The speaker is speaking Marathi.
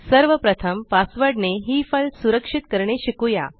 सर्वप्रथम पासवर्ड ने ही फाइल सुरक्षित करणे शिकुया